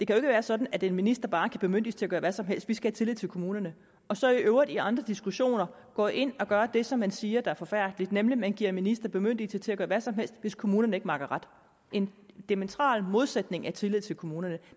kan være sådan at en minister bare kan bemyndiges til at gøre hvad som helst vi skal have tillid til kommunerne og så i øvrigt i andre diskussioner går ind og gør det som man siger er forfærdeligt nemlig at man giver en minister bemyndigelse til at gøre hvad som helst hvis kommunerne ikke makker ret en diametral modsætning af tillid til kommunerne